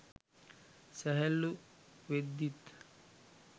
සැහැල්ලූ වෙද්දිත්